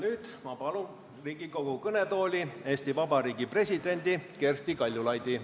Nüüd ma palun Riigikogu kõnetooli Eesti Vabariigi presidendi Kersti Kaljulaidi.